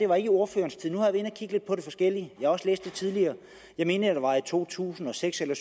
var i ordførerens tid nu har inde at kigge lidt på det forskellige og også læst det tidligere jeg mener at det var i to tusind og seks eller